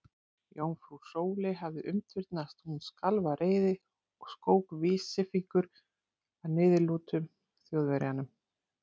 Jómfrú Sóley hafði umturnast, hún skalf af reiði og skók vísifingur að niðurlútum Þjóðverjanum.